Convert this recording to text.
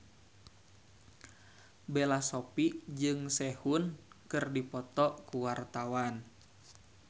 Bella Shofie jeung Sehun keur dipoto ku wartawan